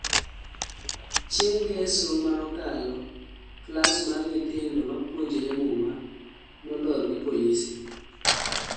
chieng' ngeso manokalo ,klas mar nyithindo mapuonjre muma nolor gi polise